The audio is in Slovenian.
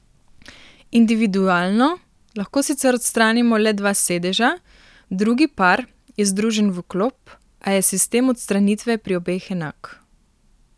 Individualno lahko sicer odstranimo le dva sedeža, drugi par je združen v klop, a je sistem odstranitve pri obeh enak.